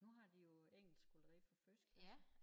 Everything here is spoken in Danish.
Nu har de jo engelsk allerede fra første klasse